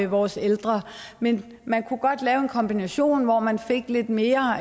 vores ældre men man kunne godt lave en kombination hvor man fik lidt mere